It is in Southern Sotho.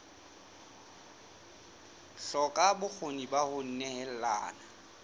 hloka bokgoni ba ho nehelana